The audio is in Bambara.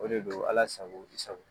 O de don Ala sago, i sago.